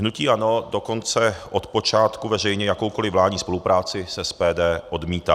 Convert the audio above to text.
Hnutí ANO dokonce od počátku veřejně jakoukoliv vládní spolupráci s SPD odmítá.